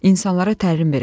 İnsanlara təlim verəcəm.